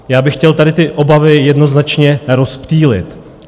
Já bych chtěl tady ty obavy jednoznačně rozptýlit.